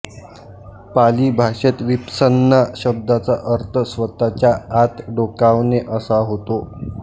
पाली भाषेत विपस्सना शब्दाचा अर्थ स्वतःच्या आत डोकावणे असा होतो